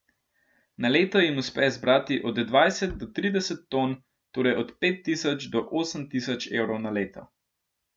Na leto jim uspe zbrati od dvajset do trideset ton, torej od pet tisoč do osem tisoč evrov na leto.